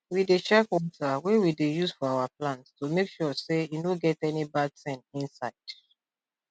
we dey check water wey we dey use for our plants to make sure say e no get any bad thing inside